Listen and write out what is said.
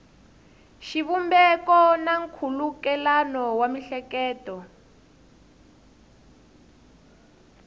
xivumbeko na nkhulukelano wa miehleketo